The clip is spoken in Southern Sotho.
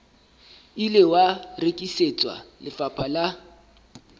ile wa rekisetswa lefapha la